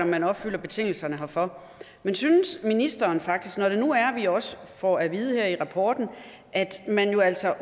man opfylder betingelserne herfor men synes ministeren faktisk når det nu er at vi også får at vide her i rapporten at man jo altså